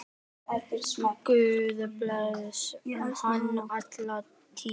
Guð blessi hann alla tíð.